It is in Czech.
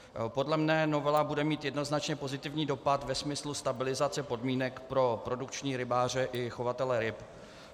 Podle mne novela bude mít jednoznačně pozitivní dopad ve smyslu stabilizace podmínek pro produkční rybáře i chovatele ryb.